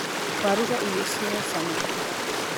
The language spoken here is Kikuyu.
Waruga irio cina cama